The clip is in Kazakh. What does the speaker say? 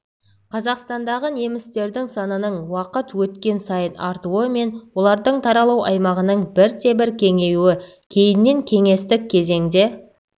қазақстандағы немістердің санының уақыт өткен сайын артуы мен олардың таралу аймағының бірте-бірте кеңеюі кейіннен кеңестік кезеңде